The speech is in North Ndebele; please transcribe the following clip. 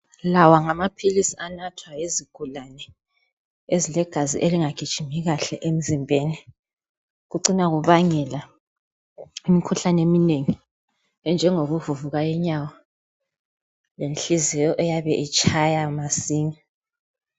Lawa ngamaphilsi anathwa yizigulane ezilegazi elingagijimi kahle emzimbeni kucina kubangela imikhuhlane eminengi enjengokuvuvuka inyawo lenhliziyo eyabe itshaya masinya